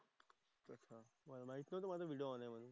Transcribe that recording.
मला माहित नव्हतं माझा व्हिडिओ ऑन आहे म्हणून.